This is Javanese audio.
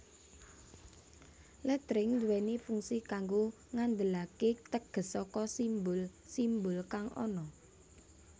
Lettering nduwèni fungsi kanggo ngandelaké teges saka simbul simbul kang ana